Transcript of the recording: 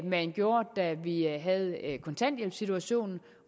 man gjorde da vi havde kontanthjælpssituationen